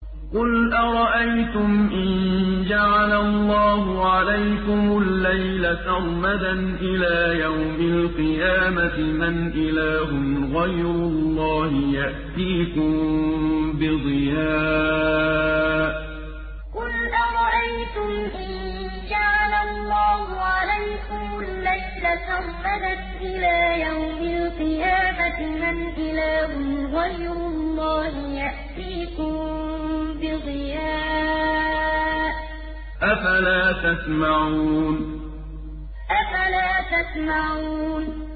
قُلْ أَرَأَيْتُمْ إِن جَعَلَ اللَّهُ عَلَيْكُمُ اللَّيْلَ سَرْمَدًا إِلَىٰ يَوْمِ الْقِيَامَةِ مَنْ إِلَٰهٌ غَيْرُ اللَّهِ يَأْتِيكُم بِضِيَاءٍ ۖ أَفَلَا تَسْمَعُونَ قُلْ أَرَأَيْتُمْ إِن جَعَلَ اللَّهُ عَلَيْكُمُ اللَّيْلَ سَرْمَدًا إِلَىٰ يَوْمِ الْقِيَامَةِ مَنْ إِلَٰهٌ غَيْرُ اللَّهِ يَأْتِيكُم بِضِيَاءٍ ۖ أَفَلَا تَسْمَعُونَ